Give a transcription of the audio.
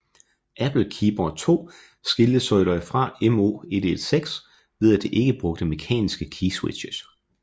Apple Keyboard II skilte sig dog fra M0116 ved at det ikke brugte mekaniske keyswitches